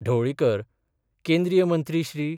ढवळीकर केंद्रीय मंत्री श्री.